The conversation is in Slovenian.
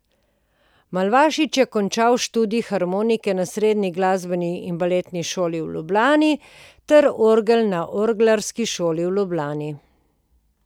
Malavašič je končal študij harmonike na Srednji glasbeni in baletni šoli v Ljubljani ter orgel na Orglarski šoli v Ljubljani.